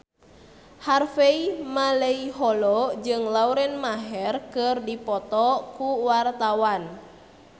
Harvey Malaiholo jeung Lauren Maher keur dipoto ku wartawan